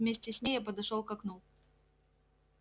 вместе с ней я подошёл к окну